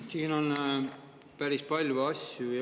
Siin on päris palju asju.